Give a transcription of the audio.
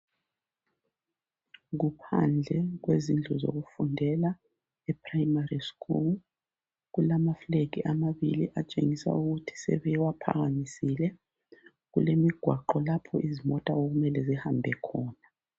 Kuphandle kwezindlu zokufundela, eprayimari skulu. Kulamaflegi amabili atshengisa ukuthi sebewaphakamisile. Kulemigwaqo lapho izimota okumele zihambe khona.